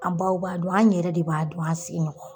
An baw b'a dun, an yɛrɛ de b'a dun an' sigiɲɔgɔnw